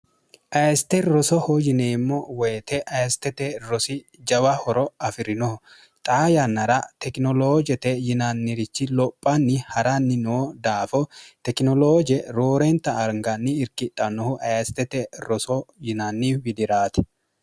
ayeste rosoho yineemmo woyite ayestete rosi jawa horo afi'rinoho xaa yannara tekinoloojete yinannirichi lophanni ha'ranni noo daafo tekinolooje roorenta arganni irkixhannohu ayestete roso yinanni widiraati